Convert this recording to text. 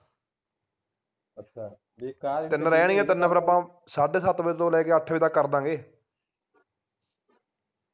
ਤਿੰਨ ਰਹਿਣੀਆਂ ਤਿੰਨ ਫੇਰ ਆਪਾਂ ਸਾਡੇ ਸੱਤ ਵਜੇ ਵਜੇ ਤੋਂ ਲੈਕੇ ਅੱਠ ਵਜੇ ਤਕ ਕਰਦਾਂਗੇ